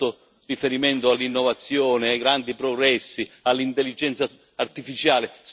Lei ha fatto riferimento all'innovazione, ai grandi progressi, all'intelligenza artificiale.